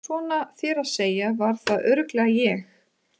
Svona þér að segja var það örugglega ég